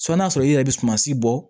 n'a sɔrɔ i yɛrɛ bɛ sumasi bɔ